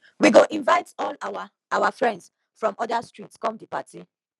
we go invite all our our friends from oda street come di party